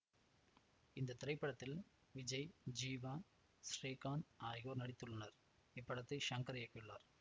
இந்த திரைப்படத்தில் விஜய் ஜீவா ஸ்ரீகாந்த் ஆகியோர் நடித்துள்ளனர் இப்படத்தை ஷங்கர் இயக்கியுள்ளார்